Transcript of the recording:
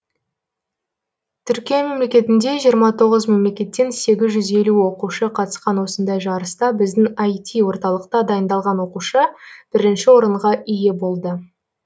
түркия мемлекетінде жиырма тоғыз мемлекеттен сегіз жүз елу оқушы қатысқан осындай жарыста біздің іт орталықта дайындалған оқушы бірінші орынға ие болды